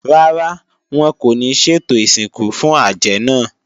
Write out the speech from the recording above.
Rárá, wọn kò ní ṣètò ìsìnkú fún àjẹ́ náà